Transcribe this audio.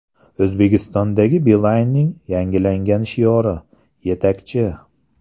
O‘zbekistondagi Beeline’ning yangilangan shiori – Yetakchi!